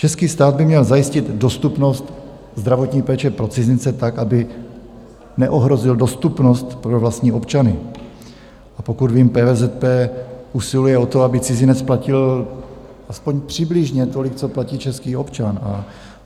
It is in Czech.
Český stát by měl zajistit dostupnost zdravotní péče pro cizince tak, aby neohrozil dostupnost pro vlastní občany, a pokud vím, PVZP usiluje o to, aby cizinec platil aspoň přibližně tolik, co platí český občan.